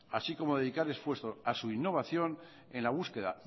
así como dedicar esfuerzo a su innovación en la búsqueda